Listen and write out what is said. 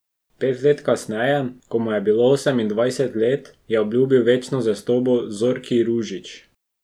Pet let kasneje, ko mu je bilo osemindvajset let, je obljubil večno zvestobo Zorki Ružić.